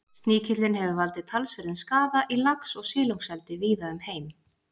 Sníkillinn hefur valdið talsverðum skaða í lax- og silungseldi víða um heim.